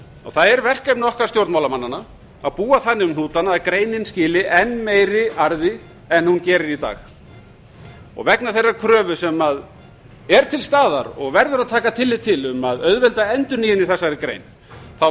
það er verkefni okkar stjórnmálamannanna að búa þannig um hnútana að greinin skili enn meiri arði en hún gerir í dag vegna þeirrar kröfu sem er til staðar og verður að taka tillit til um að auðvelda endurnýjun í þessari grein fullyrði